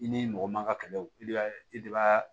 I ni mɔgɔ man ka kɛlɛ o i b'a i de b'a